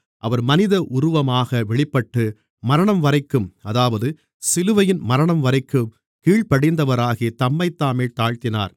அவர் மனித உருவமாக வெளிப்பட்டு மரணம்வரைக்கும் அதாவது சிலுவையின் மரணம்வரைக்கும் கீழ்ப்படிந்தவராகி தம்மைத்தாமே தாழ்த்தினார்